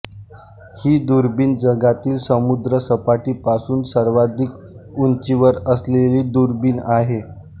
ही दुर्बीण जगातील समुद्रसपाटीपासून सर्वाधिक उंचीवर असलेली दुर्बीण आहे